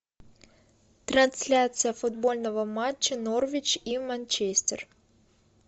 трансляция футбольного матча норвич и манчестер